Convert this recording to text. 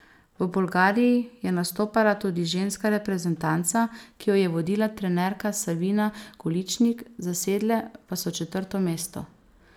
V Bolgariji je nastopala tudi ženska reprezentanca, ki jo je vodila trenerka Savina Goličnik, zasedle pa so četrto mesto.